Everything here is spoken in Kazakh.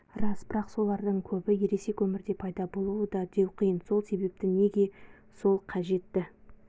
рас бірақ солардың көбі ересек өмірде пайдалы болады деу қиын сол себепті неге сол қажеті